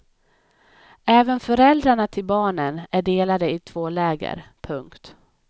Även föräldrarna till barnen är delade i två läger. punkt